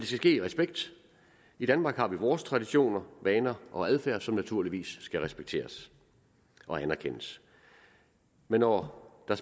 ske i respekt i danmark har vi vores traditioner vaner og adfærd som naturligvis skal respekteres og anerkendes men når der